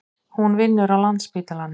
Hún vinnur á Landspítalanum.